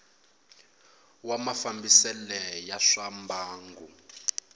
wa mafambisele ya swa mbangu